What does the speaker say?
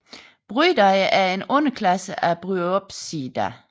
Bryidae er en underklasse af Bryopsida